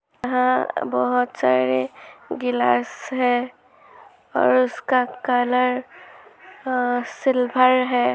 यहाँ बहुत सारे ग्लास हैं और उसका कलर अ सिल्भर है।